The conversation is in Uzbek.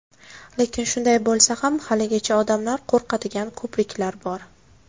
Lekin shunday bo‘lsa ham haligacha odamlar qo‘rqadigan ko‘priklar bor.